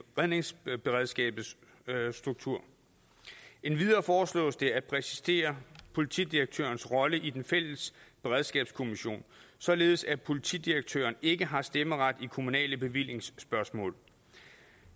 redningsberedskabets strukturer endvidere foreslås det at præcisere politidirektørens rolle i den fælles beredskabskommission således at politidirektøren ikke har stemmeret i kommunale bevillingsspørgsmål